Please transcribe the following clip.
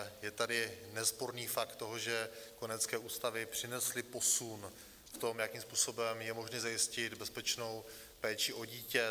Je tady nesporný fakt toho, že kojenecké ústavy přinesly posun v tom, jakým způsobem je možné zajistit bezpečnou péči o dítě;